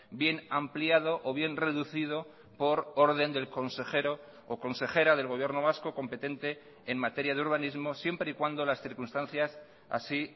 bien ampliado o bien reducido por orden del consejero o consejera del gobierno vasco competente en materia de urbanismo siempre y cuando las circunstancias así